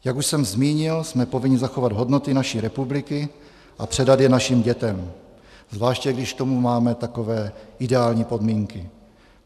Jak už jsem zmínil, jsme povinni zachovat hodnoty naší republiky a předat je našim dětem, zvláště když k tomu máme takové ideální podmínky.